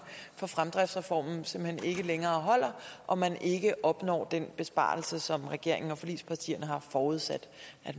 for fremdriftsreformen simpelt hen ikke længere holder og man ikke opnår den besparelse som regeringen og forligspartierne har forudsat